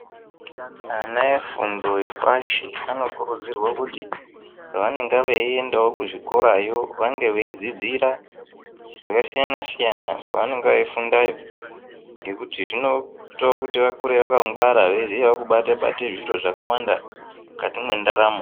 Ana efundo yepashi anokurudzirwe kuti pavanenga veindawo kuzvikorayo vanenga veidzidzira zvakasiyana siyana kwavanenge veifundayo ngekuti zvinoita kuti vakure vakangwara veiziyawo kubate bate zviro zvakawanda mukati mwendaramo.